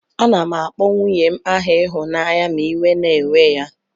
Anam akpọ nwunyen aha ihunanya ma iwe na ewe ya.